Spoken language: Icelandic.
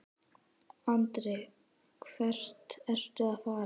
Andri: Hvert ertu að fara?